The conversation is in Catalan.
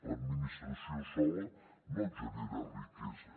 l’administració sola no genera riquesa